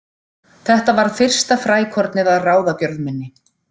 Þetta varð fyrsta frækornið að ráðagjörð minni.